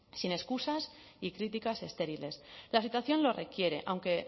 sin excusas y críticas estériles la situación lo requiere aunque